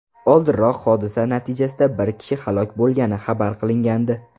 Oldinroq hodisa natijasida bir kishi halok bo‘lgani xabar qilingandi .